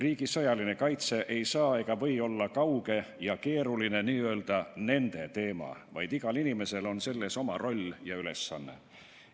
Riigi sõjaline kaitse ei tohi olla kauge ja keeruline n-ö nende teema, vaid igal inimesel on selles oma roll ja ülesanne.